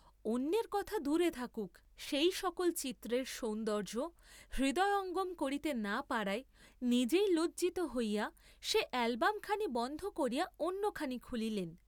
অন্যের কথা দুরে থাকুক, সেই সকল চিত্রের সৌন্দর্য্য হৃদয়ঙ্গম করিতে না পারায় নিজেই লজ্জিত হইয়া সে অ্যালবমখানি বন্ধ করিয়া অন্যখানি খুলিলেন।